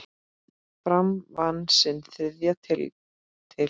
Fram vann sinn þriðja titil.